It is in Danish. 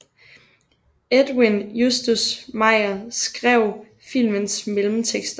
Edwin Justus Mayer skrev filmens mellemtekster